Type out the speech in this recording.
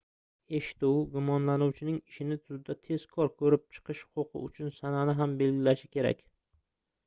eshituv gumonlanuvchining ishni sudda tezkor koʻrib chiqish huquqi uchun sanani ham belgilashi kerak